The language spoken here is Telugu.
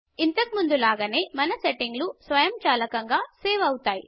ఇంతకు ముందు లాగానే మన సెట్టింగ్స్ స్వయంచాలకంగా సేవ్ అవుతాయి